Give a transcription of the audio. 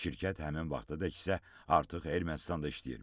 Şirkət həmin vaxtadək isə artıq Ermənistanda işləyirmiş.